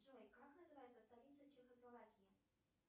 джой как называется столица чехословакии